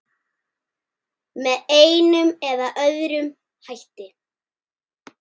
Með einum eða öðrum hætti.